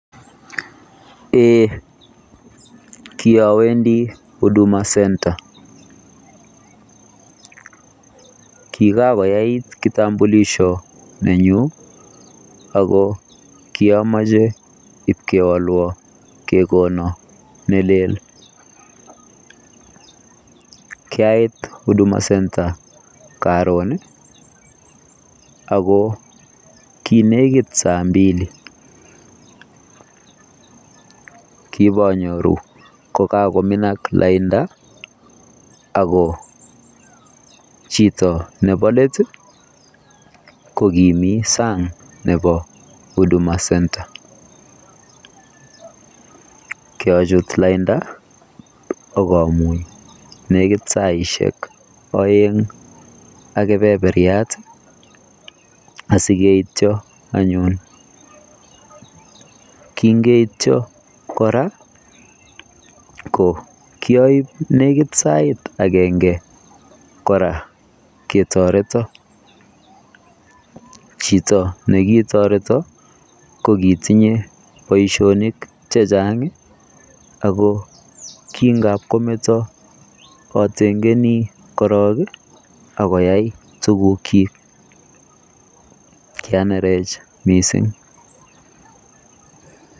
Eh kiawendii huduma [center] kiakoyait kitambulisho nenyun ako kiamache ib kewalwaan kegonan ne leel kiait huduma [center] karoon ii ako kinekiit saa mbili kibonyoruu kokakominaak lainit ako chitoo nebo let ko kimii saang nebo huduma [center] kiachut laindaa ak amuun nekiit saisiek aeng ak kebererbirat ak sikeityaan anyuun kingeityaan kora kiaibe nekiit agenge ketaretaan chitoo nekitaretoon ko kitinyei bosionik che chaang ii ako kingaap kometaa atengenii korong akoyai tuguuk kyiik kianerecch missing.